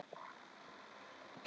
Ég hélt að þú hefðir engan áhuga.